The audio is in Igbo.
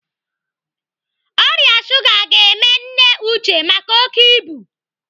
Ọrịa shuga ga-eme nne Uche maka oké ibu.